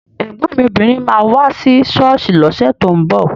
Ẹ̀gbọ́n mi obìnrin máa wá sí ṣọ́ọ̀ṣì lọ́sẹ̀ tó ń bọ̀